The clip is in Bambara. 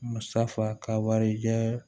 Musafa ka warijɛ